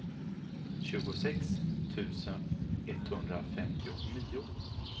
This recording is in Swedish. tjugosex tusen etthundrafemtionio